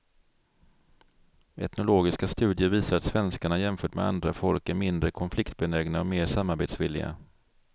Etnologiska studier visar att svenskarna, jämfört med andra folk, är mindre konfliktbenägna och mer samarbetsvilliga.